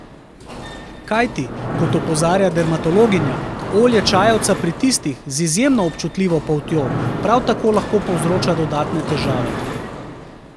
Kajti, kot opozarja dermatologinja, olje čajevca pri tistih, z izjemno občutljivo poltjo, prav tako lahko povzroča dodatne težave.